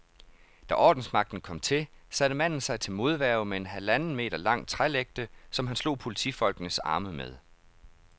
Da ordensmagten kom til, satte manden sig til modværge med en halvanden meter lang trælægte, som han slog politifolkenes arme med.